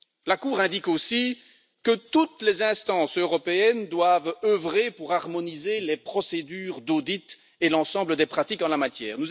La Cour indique aussi que toutes les instances européennes doivent œuvrer pour harmoniser les procédures d'audit et l'ensemble des pratiques en la matière.